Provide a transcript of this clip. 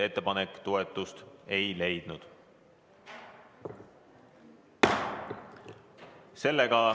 Ettepanek toetust ei leidnud.